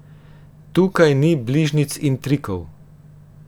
Tukaj ni bližnjic in trikov.